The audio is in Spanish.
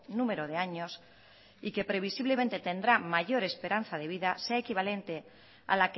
número de años y que previsiblemente tendrá mayor esperanza de vida sea equivalente a